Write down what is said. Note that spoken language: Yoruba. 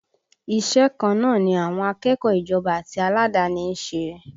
Iṣẹ́ kan náà ni àwọn akẹ́kọ̀ọ́ ìjọba àti aládàáni ń ṣe